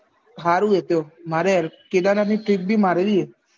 હારું એતો મારે મારે કેદારનાથ ની trip ભી માર્યું એ